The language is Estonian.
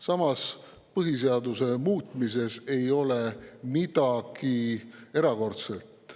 Samas, põhiseaduse muutmises ei ole midagi erakordset.